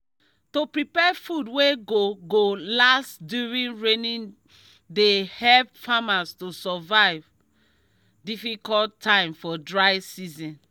to prepare food wey go go last during raining dey help farmers to survive difficult time for dry season